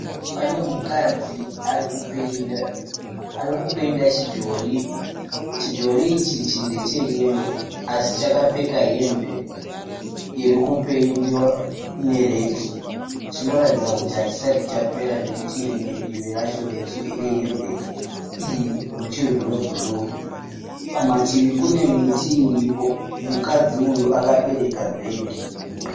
Pane mukadzi ari kupeyinda. Ari kupeyinda chidhori. Chidhori ichichi ndeche "yellow" asi chakapfeka hembe iri kupeyindiwa neredhi. Chinoratidza kuti hachisati chapera nekuti rimwe divi racho rehembe iyi ruchiri rwe"blue". Kumativi kune miti iripo. Mukadzi uyu akabereka bhegi.